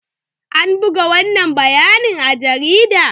An buga wannan bayanin a jarida?